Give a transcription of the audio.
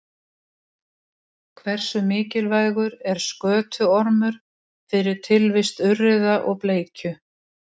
Úrkoma sem fellur á Hallmundarhraun rennur því tiltölulega grunnt undir hrauninu á þéttum jarðlögum.